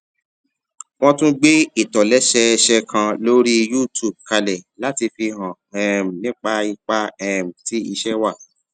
wón tún gbé ìtòlésẹẹsẹ kan lórí youtube kalè láti fi hàn um nípa ipa um tí iṣé wa